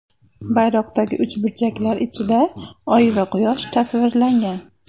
Bayroqdagi uchburchaklar ichida oy va quyosh tasvirlangan.